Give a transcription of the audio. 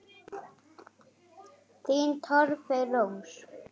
Þín Torfey Rós.